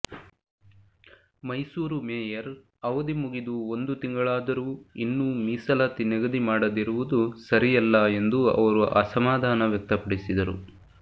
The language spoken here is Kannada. ಮೈಸೂರು ಮೇಯರ್ ಅವಧಿ ಮುಗಿದು ಒಂದು ತಿಂಗಳಾದರೂ ಇನ್ನೂ ಮೀಸಲಾತಿ ನಿಗದಿ ಮಾಡದಿರುವುದು ಸರಿಯಲ್ಲ ಎಂದು ಅವರು ಅಸಮಾಧಾನ ವ್ಯಕ್ತಪಡಿಸಿದರು